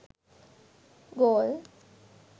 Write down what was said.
galle